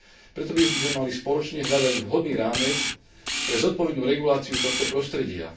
Preto by sme mali spoločne hľadať vhodný rámec pre zodpovednú reguláciu tohto prostredia.